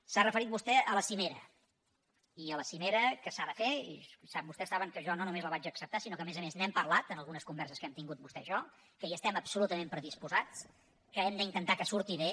s’ha referit vostè a la cimera i a la cimera que s’ha de fer i vostès saben que jo no només la vaig acceptar sinó que a més a més n’hem parlat en algunes converses que hem tingut vostè i jo que hi estem absolutament predisposats que hem d’intentar que surti bé